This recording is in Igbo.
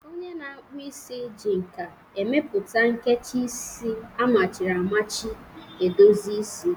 Onye na-akpụ isi ji nka emepụta a nkecha isi amachiri amachi edozi isi.